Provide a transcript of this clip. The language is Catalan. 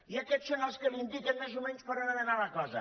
i aquests són els que li in·diquen més o menys per on ha d’anar la cosa